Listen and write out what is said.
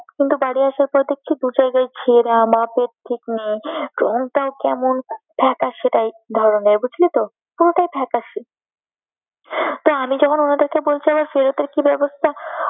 কিন্তু বাড়ি আসার পর দেখছি দু জায়গায় ছেড়া, মাপও ঠিক নেই, রঙটাও কেমন ফেকাসে type ধরনের বুঝলিতো? পুরোটাই ফেকাসে। তো আমি যখন ওনাদেরকে বলছি আমার ফেরতের কি ব্যবস্থা?